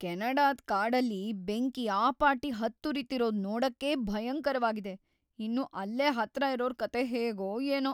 ಕೆನಡಾದ್ ಕಾಡಲ್ಲಿ ಬೆಂಕಿ ಆ ಪಾಟಿ ಹತ್ತುರಿತಿರೋದ್‌ ನೋಡಕ್ಕೇ ಭಯಂಕರವಾಗಿದೆ,‌ ಇನ್ನು ಅಲ್ಲೇ ಹತ್ರ ಇರೋರ್ ಕಥೆ ಹೇಗೋ ಏನೋ!